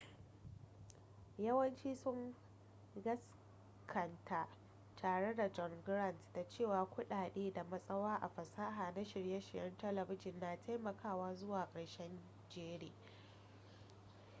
yawanci sun gaskanta tare da john grant da cewa kudade da matsawa a fasaha na shirye-shiryen talabijin na taimakawa zuwa karshen jere